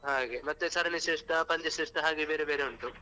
ಹಾಗೆ ಮತ್ತೆ ಸರಣಿ ಶ್ರೇಷ್ಠ, ಪಂದ್ಯ ಶ್ರೇಷ್ಠ ಹಾಗೆ ಬೇರೆ ಬೇರೆ ಉಂಟು ಹಾಗೆ.